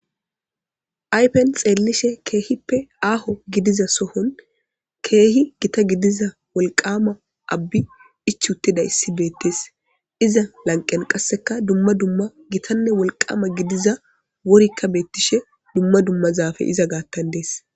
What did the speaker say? Aypen xeellishe keehippe aaho gidiza sohon keehi gita gidiza wolqama abbi ichuttida issi beettes iza lanqen qasseka dumma dumma gitanne wolqama gidiza worikka beettishe dumma dummazafe iza gaattan dees.